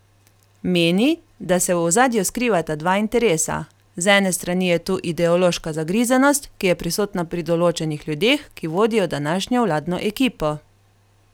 Meni, da se v ozadju skrivata dva interesa: 'Z ene strani je tu ideološka zagrizenost, ki je prisotna pri določenih ljudeh, ki vodijo današnjo vladno ekipo.